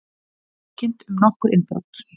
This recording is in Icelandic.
Tilkynnt um nokkur innbrot